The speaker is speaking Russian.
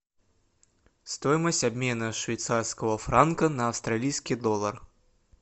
стоимость обмена швейцарского франка на австралийский доллар